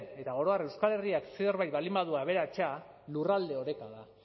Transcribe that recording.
eta oro har euskal herriak zerbait baldin badu aberatsa lurralde oreka da